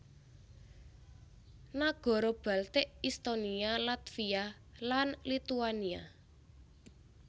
Nagara Baltik Estonia Latvia lan Lituania